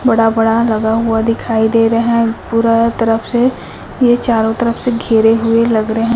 बड़ा बड़ा लगा हुआ दिखाई दे रहा है पूरा तरफ से ये चारों घेरे हुए लग रहे--